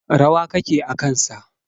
Rawa kake a kan sa.